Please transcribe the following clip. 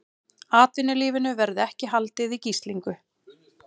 Atvinnulífinu verði ekki haldið í gíslingu